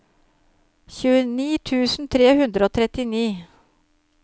tjueni tusen tre hundre og trettini